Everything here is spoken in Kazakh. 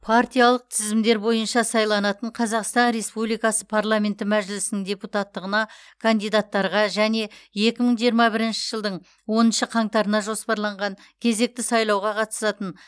партиялық тізімдер бойынша сайланатын қазақстан республикасы парламенті мәжілісінің депутаттығына кандидаттарға және екі мың жиырма бірінші жылдың оныншы қаңтарына жоспарланған кезекті сайлауға қатысатын